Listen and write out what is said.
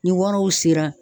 Ni waraw sera